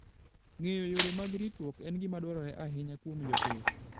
Ng'eyo yore mag ritruok en gima dwarore ahinya kuom jopith.